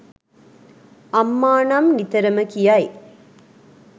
අම්මා නම් නිතරම කියයි.